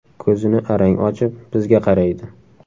Ko‘zini arang ochib, bizga qaraydi.